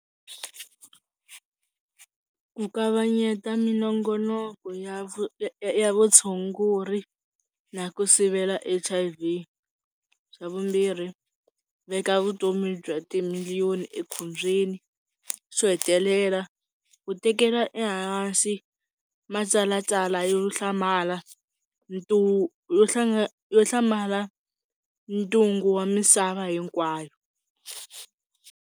Ku kavanyeta minongonoko ya ya vutshunguri na ku sivela H_I_V, swa vumbirhi veka vutomi bya timiliyoni ekhombyeni, swo hetelela u tekela ehansi matsalwatsala yo hlamala yo yo hlamala ntungu wa misava hinkwayo.